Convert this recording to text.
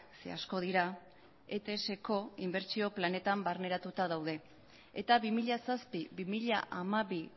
zeren asko dira etsko inbertsio planetan barneratuta daude eta bi mila zazpi bi mila hamabi